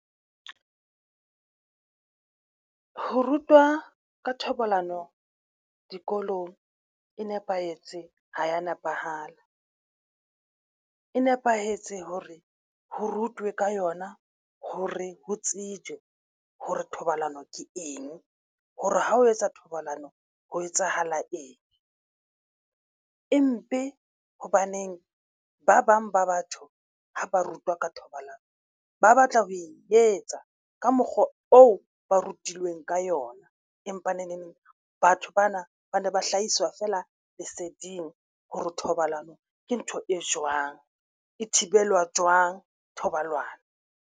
Ho rutwa ka thobalano dikolong e nepahetse ha ya nepahala, e nepahetse hore ho rutwe ka yona hore ho tsejwe hore thobalano ke eng hore ha o etsa thobalano, ho etsahala eng empe hobaneng ba bang ba batho ha ba rutwa ka thobalano ba batla ho e etsa ka mokgwa oo ba rutilweng ka yona. Empa neng neng batho bana ba ne ba hlahiswa feela leseding hore thobalano ke ntho e jwang e thibelwa jwang thobalano.